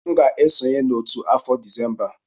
M ga-esonye n'otu afọ Disemba a.